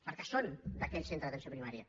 perquè són d’aquell centre d’atenció primària